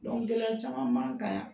Gɛlɛya caman man ka yan.